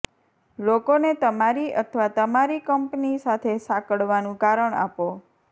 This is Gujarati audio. લોકોને તમારી અથવા તમારી કંપની સાથે સાંકળવાનું કારણ આપો